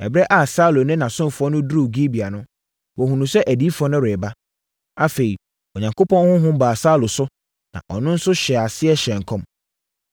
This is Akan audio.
Ɛberɛ a Saulo ne ne ɔsomfoɔ no duruu Gibea no, wɔhunuu sɛ adiyifoɔ no reba. Afei Onyankopɔn honhom baa Saulo so, na ɔno nso hyɛɛ aseɛ hyɛɛ nkɔm.